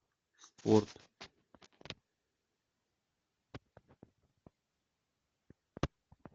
спорт